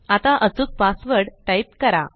आता अचूक password type करा